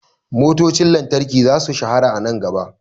Motocin lantarki za su shahara a nan gaba.